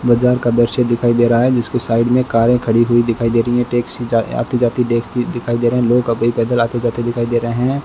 बाजार का दृश्य दिखाई दे रहा है जिसकी साइड में कारें खड़ी हुई दिखाई दे रही हैं टैक्सी जा आती जाती देख स दिखाई दे रहें लोग काफी पैदल आते-जाते दिखाई दे रहे हैं।